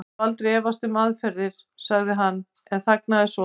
Ég hef aldrei efast um aðferðirnar. sagði hann en þagnaði svo.